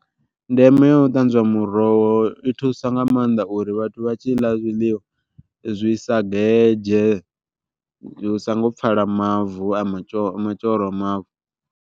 Ndeme ya u ṱanzwa muroho i thusa nga maanḓa uri vhathu vha tshi ḽa zwiḽiwa zwi sa gedzhe hu songo pfala mavu a ma a mavu.